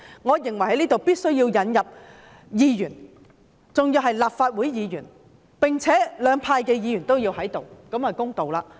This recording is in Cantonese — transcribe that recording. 我認為必須加入議員，而且是立法會議員，並要加入兩派的議員，這樣才公道。